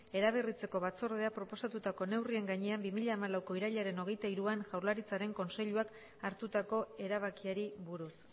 eraberritzeko batzordeak proposatutako neurrien gainean bi mila hamalauko irailaren hogeita hiruan jaurlaritzaren kontseiluak hartutako erabakiari buruz